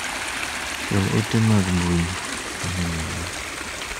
Chwal ote mag mbui ne nyaminwa .